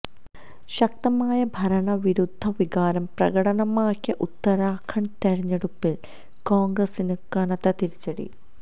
ശക്തമായ ഭരണവിരുദ്ധ വികാരം പ്രകടമാക്കിയ ഉത്തരാഖണ്ഡ് തെരഞ്ഞെടുപ്പില് കോണ്ഗ്രസിന് കനത്ത തിരിച്ചടി